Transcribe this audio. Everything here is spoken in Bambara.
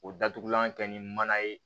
O datugulan kɛ ni mana ye